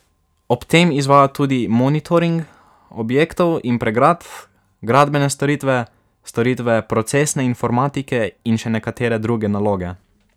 Ob tem izvajajo tudi monitoring objektov in pregrad, gradbene storitve, storitve procesne informatike in še nekatere druge naloge.